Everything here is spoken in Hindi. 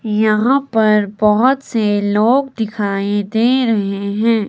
यहां पर बहोत से लोग दिखाई दे रहे हैं।